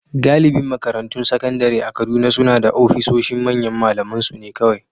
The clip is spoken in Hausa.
Galibin makarantun sakandare a Kaduna suna da ofisoshin manyan malamansu ne kawai